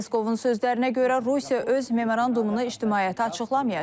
Peskovun sözlərinə görə Rusiya öz memorandumunu ictimaiyyətə açıqlamayacaq.